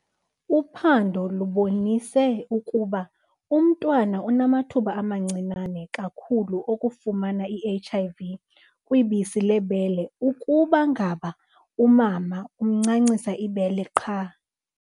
Uphando lubonise ukuba umntwana unamathuba amancinane kakhulu okufumana i-HIV kwibisi lebele ukuba ngaba umama umncancisa ibele qha.